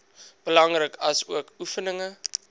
belangrik asook oefeninge